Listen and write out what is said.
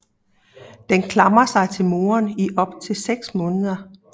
Den klamrer sig til moren i op til seks måneder